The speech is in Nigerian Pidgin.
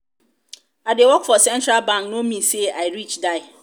i dey work for central bank no mean say i rich die.